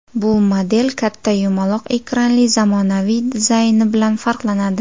Bu model katta yumaloq ekranli zamonaviy dizayni bilan farqlanadi.